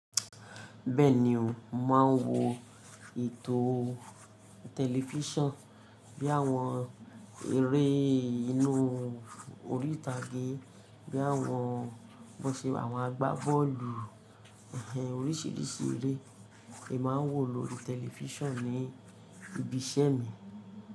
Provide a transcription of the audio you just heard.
Bẹ́ẹ̀ni o, màá ń wo ètò tẹlifíṣàn bí i àwọn eré inú orí ìtàgé, bí i àwọn, bó ṣe àwọn àgbá bọ́ọ̀lù, oríṣiríṣi eré è máa ń wò lóri tẹlifíṣàn ní ibi iṣẹ́ mi.